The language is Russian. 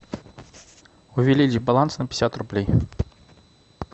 увеличь баланс на пятьдесят рублей